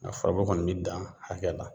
Nga furako kɔni bi dan hakɛ la